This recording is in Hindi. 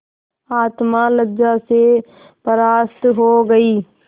आत्मा लज्जा से परास्त हो गयी